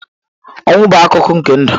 Ọnwụ bụ akụkụ nke ndụ.